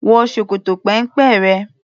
Wọ ṣòkòtò péńpé rẹ!